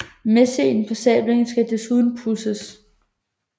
Messingen på sablen skal desuden pudses